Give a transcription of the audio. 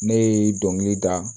Ne ye dɔnkili da